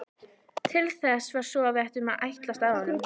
Til þess var svo að segja ætlast af honum.